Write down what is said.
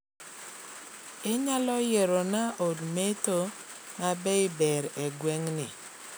Inyalo yierona od metho mabei maber e gweng'ni